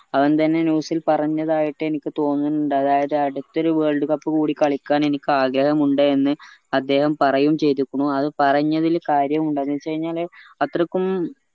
അതെന്തെനെ news ഇൽ പറഞ്ഞതായിട്ട് എനിക്ക് തോന്നണിണ്ടു അതായത് അടുത്ത ഒരു world cup കൂടി കളിക്കാൻ ആഗ്രഹമുണ്ട് എന്ന് അദ്ദേഹം പറയുമ് ചെയ്തേക്കുണു അത് പറഞ്ഞതിൽ കാര്യമുണ്ട് എന്നെച്ചഴിഞ്ഞാല് അത്രക്കും